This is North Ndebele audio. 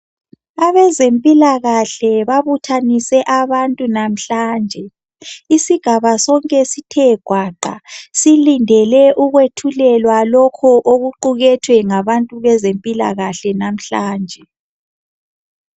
Abezempilakahle babuthanise abantu namhlanje. Isigaba sonke sithe gwaqa. Silindele ukwethulelwa lokho okuqukethwe ngabezempilakahle lamhlanje.